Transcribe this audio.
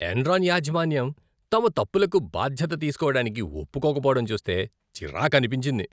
Enron యాజమాన్యం తమ తప్పులకు బాధ్యత తీసుకోవడానికి ఒప్పుకోకపోవడం చూస్తే చిరాకనిపించింది.